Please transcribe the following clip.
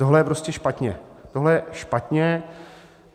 Tohle je prostě špatně, tohle je špatně.